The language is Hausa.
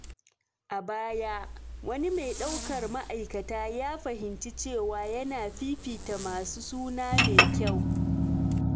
A baya, wani mai daukar ma’aikata ya fahimci cewa yana fifita masu suna mai kyau.